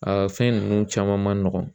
A fɛn ninnu caman man nɔgɔn